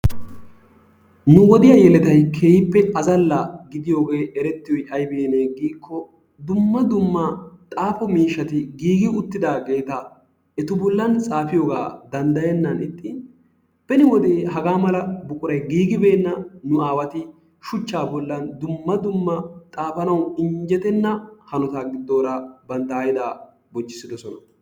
Nu wodiya yelettay azzalla gidiyogee erettiyoy aybinne giikko dumma dumma xaafo miishshati giigi uttidaageta etu bollan xaafiyogaa danddayenna ixxin beni wode hagaa mala buquray giiggibenna nu aawati shuchchaa bollan dumma dumma xaafanawu injjettenna hanotaa giddoora bantta haydaa bonchchissiddosona.